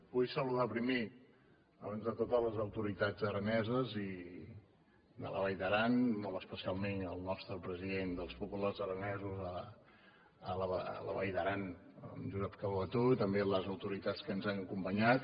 vull saludar primer abans de tot les autoritats araneses i de la vall d’aran molt especialment el nostre president dels populars aranesos a la vall d’aran en josep calbetó i també les autoritats que ens han acompanyat